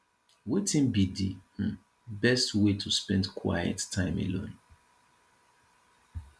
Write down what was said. wetin be di um best way to spend quiet time alone